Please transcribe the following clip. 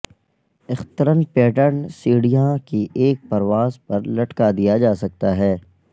اخترن pattern سیڑھیاں کی ایک پرواز پر لٹکا دیا جا سکتا ہے